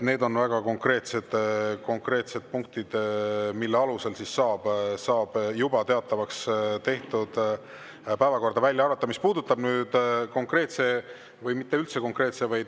Need on väga konkreetsed, mille alusel saab juba teatavaks tehtud päevakorrast välja arvata.